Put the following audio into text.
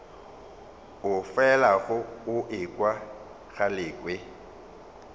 o felago o ekwa galekwe